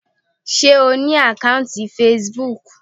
Sé O ní àkọ́ùntì Facebook.